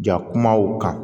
Ja kumaw kan